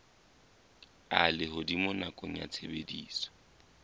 a lehodimo nakong ya tshebediso